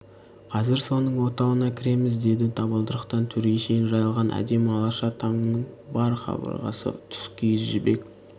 қазір соның отауына кіреміз деді табалдырықтан төрге шейін жайылған әдемі алаша тамның бар қабырғасы тұскиіз жібек